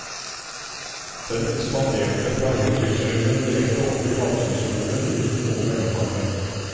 Den ekspanderte fra høytrykkssylinderen direkte over i lavtrykkssylinderen uten noe mellomkammer.